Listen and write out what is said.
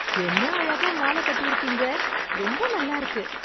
என்ன அழகா மாலை கட்டிருக்கீங்க, ரொம்ப நல்லா இருக்கு.